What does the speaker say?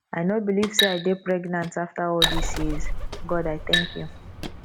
i no believe say i dey pregnant after all dis years god i thank you